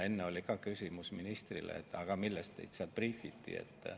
Enne oli ka küsimus ministrile, et aga millest teda briifiti.